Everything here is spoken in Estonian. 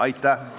Aitäh!